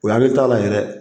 O hakili t'a la yɛrɛ